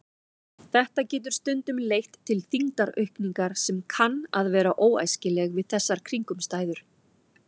Þetta getur stundum leitt til þyngdaraukningar sem kann að vera óæskileg við þessar kringumstæður.